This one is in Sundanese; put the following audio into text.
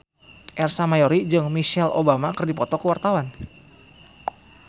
Ersa Mayori jeung Michelle Obama keur dipoto ku wartawan